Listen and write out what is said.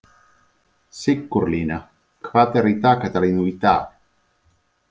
Sigurlína, hvað er í dagatalinu í dag?